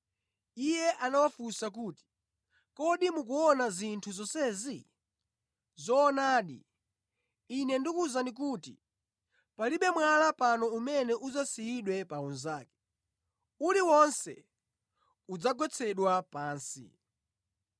Iye anawafunsa kuti, “Kodi mukuona zinthu zonsezi? Zoonadi, Ine ndikuwuzani kuti palibe mwala pano umene udzasiyidwe pa unzake; uliwonse udzagwetsedwa pansi.”